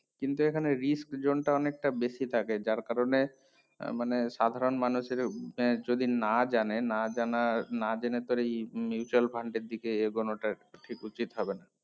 কিন্তু এখানে risk zone টা অনেকটা বেশি থাকে যার কারণে মানে সাধারণ মানুষ এরও এ যদি না জানে না জেনের না জেনে করেই mutual fund এর দিকে এগোনো টা ঠিক উচিত হবে না